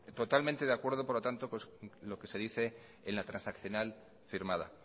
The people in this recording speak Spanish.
totalmente de acuerdo por lo tanto pues lo que se dice en la transaccional firmada